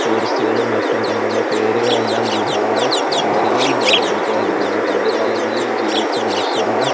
ടൂറിസ്റുകളും മറ്റും തങ്ങളുടെ പേരുകളെല്ലാം ഗുഹയുടെ ചുമരുകളിൽ രേഖപെടുത്തിയതായിട്ടു കാണാം പണ്ടുകാലങ്ങളിൽ ജീവിച്ച മനുഷ്യരുടെ--